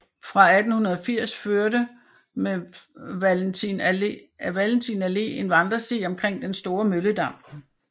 Fra 1880 førte med Valentin Allé en vandresti omkring den Store Mølledam